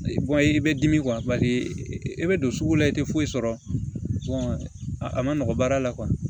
i bɛ dimi e bɛ don sugu la i tɛ foyi sɔrɔ a ma nɔgɔ baara la